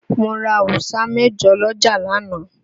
Mo ra awusa mẹ̀jọ lọ́jà lánàá.